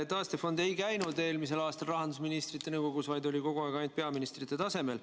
Taastefond ei käinud eelmisel aastal rahandusministrite nõukogus, vaid oli kogu aeg ainult peaministrite tasemel.